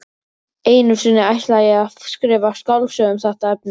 Einu sinni ætlaði ég að skrifa skáldsögu um þetta efni.